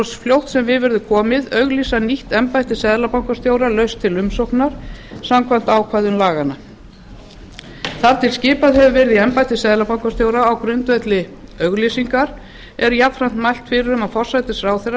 svo fljótt sem við verður komið auglýsa nýtt embætti seðlabankastjóra laust til umsóknar samkvæmt ákvæðum laganna þar til skipað hefur verið í embætti seðlabankastjóra á grundvelli auglýsingar er jafnframt mælt fyrir um að forsætisráðherra